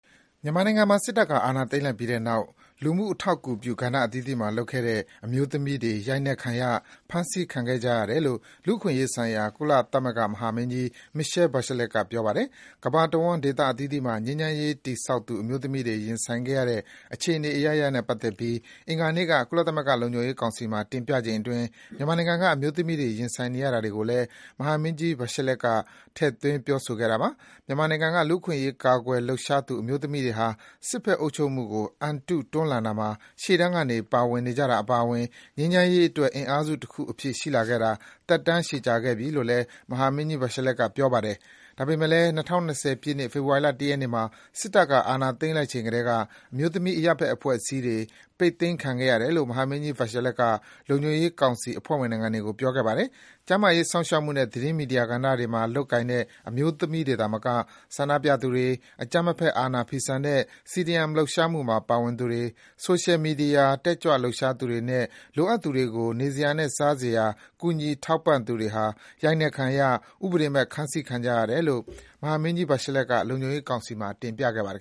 မြန်မာနိုင်ငံမှာ စစ်တပ်က အာဏာသိမ်းလိုက်ပြီးတဲ့နောက် လူမှုထောက်ကူပြု ကဏ္ဍအသီးသီးမှာလုပ်ခဲ့တဲ့ အမျိုးသမီးတွေ ရိုက်နှက်ခံရ၊ ဖမ်းဆီးခံခဲ့ကြရတယ်လို့ လူ့အခွင့်အရေးဆိုင်ရာ ကုလသမဂ္ဂ မဟာမင်းကြီး Michelle Bachelet က ပြောပါတယ်။ ကမ္ဘာတဝန်း ဒေသအသီးသီးမှာ ငြိမ်းချမ်းရေးတည်ဆောက်သူ အမျိုးသမီးတွေ ရင်ဆိုင်ခဲ့ရတဲ့ အခြေအနေအရပ်ရပ်နဲ့ပတ်သက်ပြီး အင်္ဂါနေ့က ကုလသမဂ္ဂလုံခြုံရေးကောင်စီမှာ တင်ပြချိန်အတွင်း မြန်မာနိုင်ငံက အမျိုးသမီးတွေ ရင်ဆိုင်နေရတာတွေကိုလည်း မဟာမင်းကြီး Bachelet က ထည့်ပြောသွားတာပါ။ မြန်မာနိုင်ငံက လူ့အခွင့်အရေး ကာကွယ်လှုပ်ရှားသူ အမျိုးသမီးတွေဟာ “စစ်ဘက်အုပ်ချုပ်မှုကို အန်တုတွန်းလှန်တာမှာ ရှေ့တန်းကနေ ပါဝင်နေကြတာအပါအဝင်” ငြိမ်းချမ်းရေးအတွက် အင်အားစုတခုအဖြစ် ရှိလာခဲ့တာ သက်တမ်းရှည်ကြာခဲ့ပြီလို့ မဟာမင်းကြီး Bachelet ကပြောပါတယ်။ ဒါပေမယ့်လည်း ၂၀၂၀ ပြည့်နှစ်၊ ဖေဖော်ဝါရီလ ၁ ရက်နေ့မှာ စစ်တပ်က အာဏာသိမ်းလိုက်ချိန်ကတည်းက အမျိုးသမီး အရပ် ဘက်အဖွဲ့အစည်းတွေ ပိတ်သိမ်းခံခဲ့ရတယ်လို့ မဟာမင်းကြီး Bachelet က လုံခြုံရေးကောင်စီ အဖွဲ့ဝင်နိုင်ငံတွေကို ပြောခဲ့ပါ တယ်။ ကျန်းမာရေးစောင့်ရှောက်မှုနဲ့ သတင်းမီဒီယာကဏ္ဍတွေမှာ လုပ်ကိုင်တဲ့ အမျိုးသမီးတွေသာမက ဆန္ဒပြသူတွေ၊ အကြမ်းမဖက် အာဏာဖီဆန်တဲ့ CDM လှုပ်ရှားမှုမှာပါဝင်သူတွေ၊ ဆိုရှယ်မီဒီယာ တက်ကြွလှုပ်ရှားသူတွေနဲ့ လိုအပ်သူတွေကို နေစရာနဲ့ စားစရာ ကူညီထောက်ပံ့သူတွေဟာ ရိုက်နှက်ခံရ၊ ဥပဒေမဲ့ ဖမ်းဆီးခံကြရတယ်လို့ မဟာမင်းကြီး Bachelet က လုံခြုံရေးကောင်စီမှာ တင်ပြခဲ့ပါတယ်